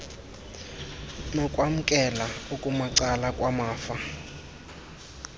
nokwamkela okumacala kwamafa